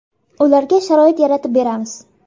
Ularga sharoit yaratib beramiz.